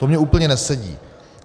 To mně úplně nesedí.